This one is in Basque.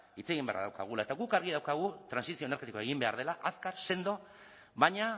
hitz egin beharra daukagula eta guk argi daukagu trantsizio energetikoa egin behar dela azkar sendo baina